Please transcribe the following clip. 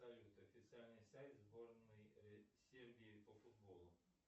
салют официальный сайт сборной сербии по футболу